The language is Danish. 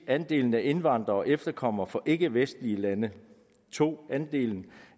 andelen af indvandrere og efterkommere fra ikkevestlige lande 2 andelen